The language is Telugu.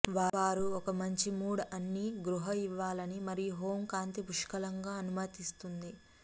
వారు ఒక మంచి మూడ్ అన్ని గృహ ఇవ్వాలని మరియు హోమ్ కాంతి పుష్కలంగా అనుమతిస్తుంది